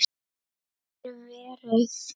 Takk fyrir verið